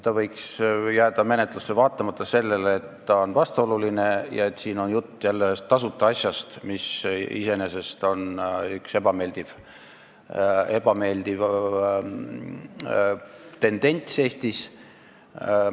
See võiks jääda menetlusse vaatamata sellele, et ta on vastuoluline ja et siin on jutt jälle ühest tasuta asjast, mis iseenesest on üks ebameeldiv tendents Eestis.